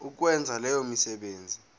ukwenza leyo misebenzi